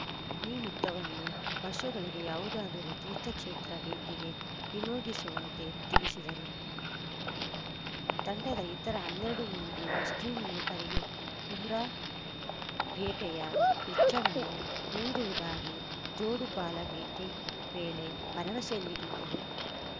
ಈ ಮೊತ್ತವನ್ನು ವರ್ಷದೊಳಗೆ ಯಾವುದಾದರೂ ತೀರ್ಥಕ್ಷೇತ್ರ ಭೇಟಿಗೆ ವಿನಿಯೋಗಿಸುವಂತೆ ತಿಳಿಸಿದರು ತಂಡದ ಇತರ ಹನ್ನೆರಡು ಮಂದಿ ಮುಸ್ಲಿಂ ಯುವಕರಿಗೆ ಉಮ್ರಾ ಭೇಟೆಯ ವೆಚ್ಚವನ್ನು ನೀಡುವುದಾಗಿ ಜೋಡುಪಾಲ ಭೇಟಿ ವೇಳೆ ಭರವಸೆ ನೀಡಿದ್ದರು